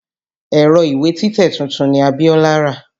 Ẹ̀rọ ìwé títẹ̀ tuntun ni Abiọ́lá rà.